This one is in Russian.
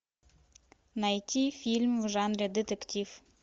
найти фильм в жанре детектив